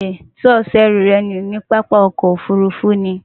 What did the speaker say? Sé o so ęrù rę nù ní pápákò òfurufú ni?